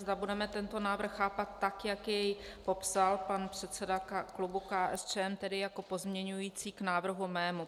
Zda budeme tento návrh chápat tak, jak jej popsal pan předseda klubu KSČM, tedy jako pozměňující k návrhu mému.